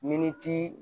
Miniti